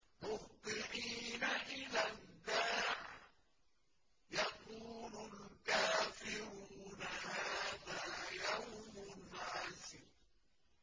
مُّهْطِعِينَ إِلَى الدَّاعِ ۖ يَقُولُ الْكَافِرُونَ هَٰذَا يَوْمٌ عَسِرٌ